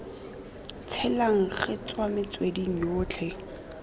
tshelang gi tswa metsweding yotlhe